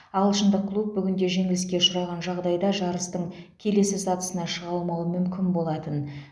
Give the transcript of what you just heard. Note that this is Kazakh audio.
ағылшындық клуб бүгін де жеңіліске ұшыраған жағдайда жарыстың келесі сатысына шыға алмауы мүмкін болатын